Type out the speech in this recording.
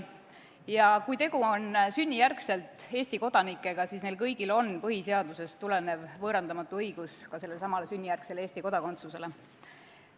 Ja kui tegu on sünnijärgsete Eesti kodanikega, siis neil kõigil on õigus Eesti kodakondsusele põhiseadusest tulenevalt võõrandamatu.